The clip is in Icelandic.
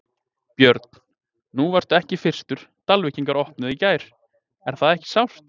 Björn: Nú varstu ekki fyrstur, Dalvíkingar opnuðu í gær, er það ekki sárt?